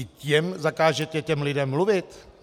I tam zakážete těm lidem mluvit?